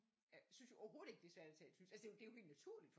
Synes jo overhovedet ikke at det er svært at tale tysk altså det er jo helt naturligt for